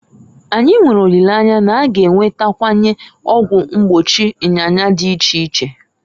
Anyi nwere olileanya na- a ga enwetawanye ọgwụ mgbochi nyanya dị iche iche.